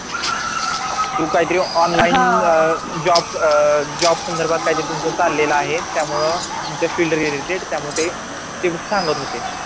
तू काय तरी online अह job अह job संधर्बात कायतरी तुझं चालेलं आहे त्यामुळं तुमच्या field related त्यामुळे ते तेच सांगत होते